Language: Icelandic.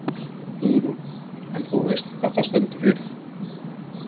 Hugrún: En þú veist hvað það stendur fyrir?